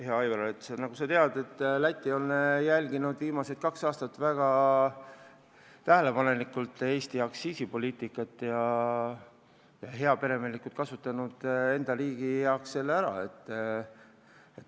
Hea Aivar, nagu sa tead, Läti on jälginud viimased kaks aastat väga tähelepanelikult Eesti aktsiisipoliitikat ja heaperemehelikult selle oma riigi heaks ära kasutanud.